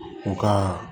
U ka